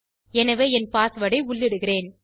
எனவே என் பாஸ்வேர்ட் ஐ உள்ளிடுகிறேன்